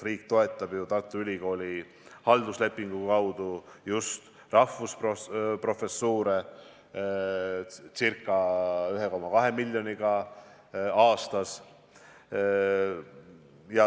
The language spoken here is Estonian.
Riik toetab Tartu Ülikooli halduslepingu alusel just rahvusprofessuure ca 1,2 miljoniga aastas.